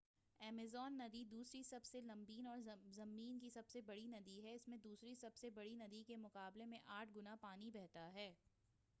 Amazon ندی دوسری سب سے لمبی اور زمین کی سب بڑی ندی ہے اسمیں دوسری سب سے بڑی ندی کے مقابلے 8 گنا پانی بہتا ہے